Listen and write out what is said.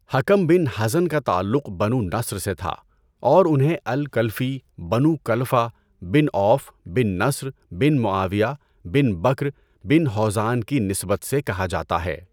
حَکَم بن حزن کا تعلق بنو نصر سے تھا اور انہیں الکلفی، بنو کلفہ بن عوف بن نصر بن معاویہ بن بَكْر بن ہوزان کی نسبت سے کہا جاتا ہے۔